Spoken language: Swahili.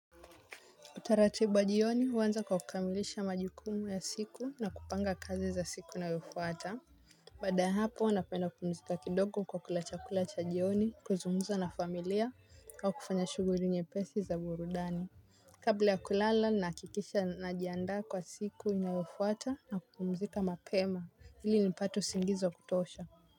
Utaratibu wa jioni huanza kwa kukamilisha majikumu ya siku na kupanga kazi za siku na inayouata. Baada ya hapo napenda kumzika kidogo kwa kula cha kulacha jioni kuzungumza na familia au kufanya shughuli nyepesi za burudani. Kabla ya kulala nakikisha najianda kwa siku na inayofuata na kupumzika mapema ili nipate usingizi wa kutosha.